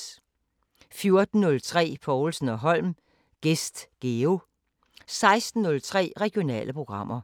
14:03: Povlsen & Holm: Gæst Geo 16:03: Regionale programmer